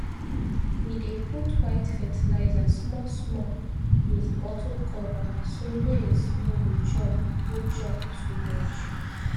we dey put white fertilizer small small with bottle cover so maize no go chop go chop too much